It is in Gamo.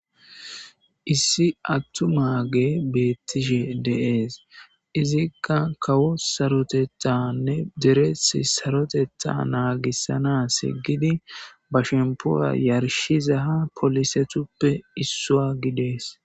issi attumaage bettishe deees izikka kawo sarotetanne deres sarotetta naagissana seggidi ba shempoya yarshiza ha polisetuppe issua gidees